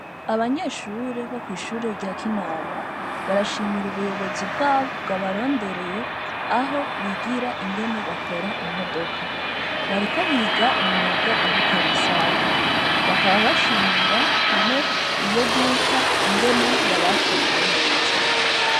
Abanyeshure bo kwishure rya kinama barashimira ubuyobozi bwabo bwabarondereye abo bigira ingene bakora imodoka bariko biga umwuga wo gukora ikanisani ingene yabakiriye neza.